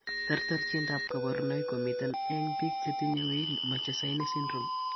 Terterchindab kaborunoik komiten eng' biik chetinye Weill Machesaini syndrome